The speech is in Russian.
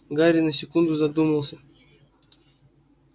гарри на секунду задумался